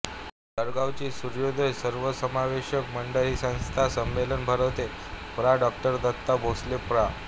जळगावची सूर्योदय सर्वसमावेशक मंडळ ही संस्था हे संमेलन भरवते प्रा डॉ दत्ता भोसले प्रा